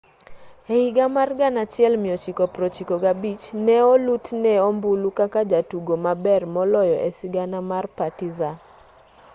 e higa mar 1995 ne olutne ombulu kaka jatugo maber moloyo e sigana mar partizan